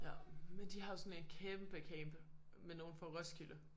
Ja men de har jo sådan en kæmpe camp med nogen fra Roskilde